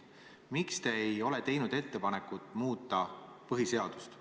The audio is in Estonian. Miks te ei ole teinud ettepanekut muuta põhiseadust?